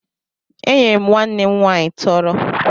Enyere m nwanne m nwaanyị tọrọ